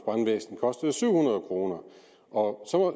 brandvæsen kostede syv hundrede kroner og